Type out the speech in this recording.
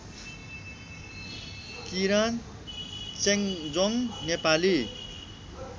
Kiran Chemjong Nepali